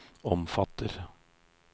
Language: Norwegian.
omfatter